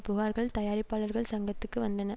புகார்கள் தயாரிப்பாளர்கள் சங்கத்துக்கு வந்தன